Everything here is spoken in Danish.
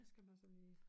Hvad skal man så lige